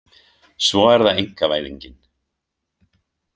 Svo er það einkavæðingin.